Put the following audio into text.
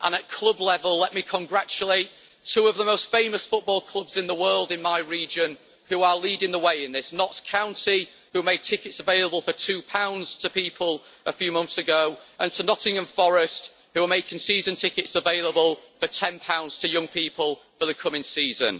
And at club level, let me congratulate two of the most famous football clubs in the world in my region, who are leading the way in this Notts County, who made tickets available for GBP 2 to people a few months ago, and to Nottingham Forest, who are making season tickets available for GBP 10 to young people for the coming season.